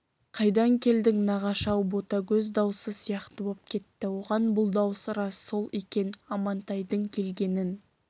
қайдан келдің нағашы-ау ботагөз даусы сияқты боп кетті оған бұл дауыс рас сол екен амантайдың келгенін